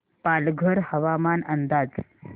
पालघर हवामान अंदाज